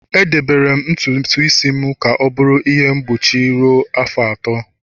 Edebere m ntutu isi m ka ọ bụrụ ihe mgbochi ruo afọ atọ